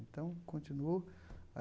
Então, continuou.